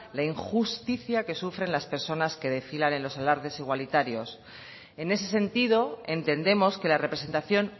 la injusticia que sufren las personas que desfilan en los alardes igualitarios en ese sentido entendemos que la representación